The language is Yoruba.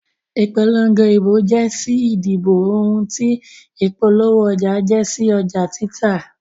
Ìpolongo ìbò jẹ́ sí ìdìbò ohun tí ìpolówó ọjà jẹ́ sí ọjà títà.